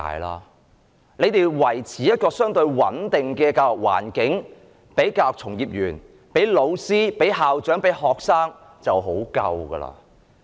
政府如能維持一個相對穩定的教育環境予教育從業員、老師、校長及學生，已經很足夠。